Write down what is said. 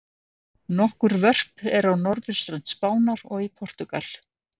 Nokkur vörp eru á norðurströnd Spánar og í Portúgal.